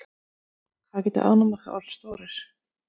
hvað geta ánamaðkar orðið stórir